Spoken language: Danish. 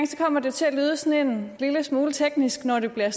kommer det til at lyde sådan en lille smule teknisk når det bliver